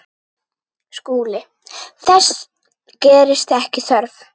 SKÚLI: Þess gerist ekki þörf.